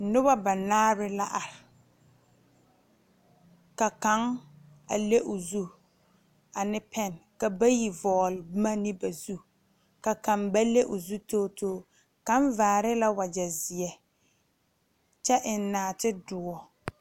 Noba banaare la are ka kaŋ le o zu ane pɛn ka bayi vɔgle boma ne ba zu ka kaŋ ba le o zu togi togi kaŋ vaare la wagye ziɛ kyɛ eŋ naate doɔ.